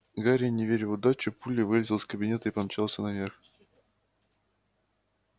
гарри не веря в удачу пулей вылетел из кабинета и помчался наверх